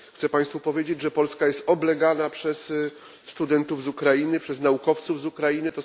Chcę Państwu powiedzieć, że Polska jest oblegana przez studentów z Ukrainy, przez naukowców z Ukrainy.